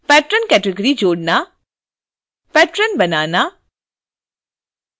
patron category जोड़ना